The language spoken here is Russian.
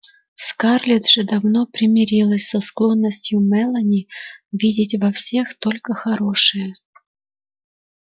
скарлетт же давно примирилась со склонностью мелани видеть во всех только хорошее